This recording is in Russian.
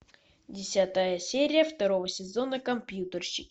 десятая серия второго сезона компьютерщики